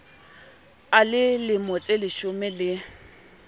a le lemo tseleshome le